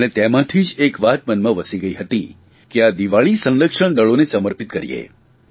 અને તેમાંથી જ એક વાત મનમાં વસી ગઇ હતી કે આ દિવાળી સંરક્ષણ દળોને સમર્પિત કરીએ